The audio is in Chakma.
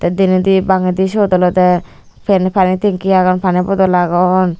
teh dinedi bangedi siyot olodeh pani tenki agon pani bodol agon.